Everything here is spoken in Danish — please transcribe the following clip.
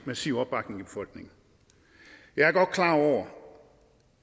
massiv opbakning i befolkningen jeg er godt klar over